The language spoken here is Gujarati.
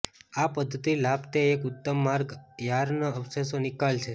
આ પદ્ધતિ લાભ તે એક ઉત્તમ માર્ગ યાર્ન અવશેષો નિકાલ છે